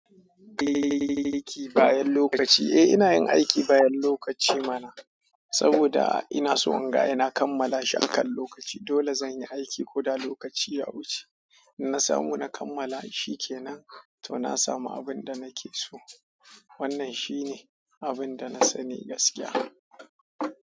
Aiki bayan lokaci. Eh ina yin aiki bayan lokaci mana, saboda ina so in ga ina kammala shi akan lokaci. Dole zan yi aiki ko da lokaci ya wuce. In na samu na kammala shikenan, to na samu abin da nake so. Wannan shi ne abin da na sani gaskiya.